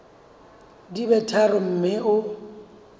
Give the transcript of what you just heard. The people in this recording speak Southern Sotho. di be tharo mme o